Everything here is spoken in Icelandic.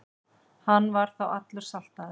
Hann var þá allur saltaður.